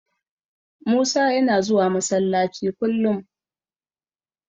Musa yana zuwa Masallaci kullum.